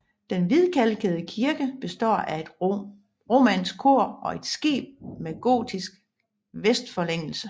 Den hvidkalkede kirke består af et romansk kor og et skib med gotisk vestforlængelse